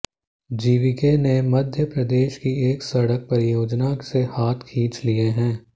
GVK ने मध्य प्रदेश की एक सड़क परियोजना से हाथ खींच लिए हैं